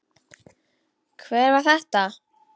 Hver var þetta?